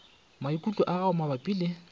maikutlo a gago mabapi le